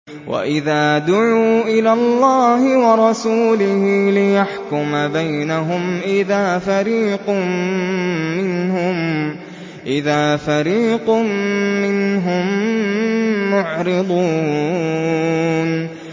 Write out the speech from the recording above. وَإِذَا دُعُوا إِلَى اللَّهِ وَرَسُولِهِ لِيَحْكُمَ بَيْنَهُمْ إِذَا فَرِيقٌ مِّنْهُم مُّعْرِضُونَ